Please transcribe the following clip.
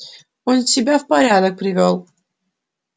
он себя в порядок привёл